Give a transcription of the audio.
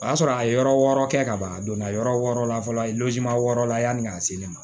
O y'a sɔrɔ a ye yɔrɔ wɔɔrɔ kɛ ka ban a donna yɔrɔ wɔɔrɔ la fɔlɔ wɔɔrɔ la yanni ka se ne ma